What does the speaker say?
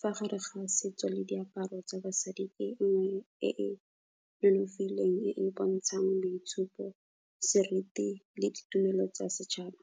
fa gare ga setso le diaparo tsa basadi e nngwe e e nonofileng e e bontshang boitshupo, seriti le ditumelo tsa setšhaba.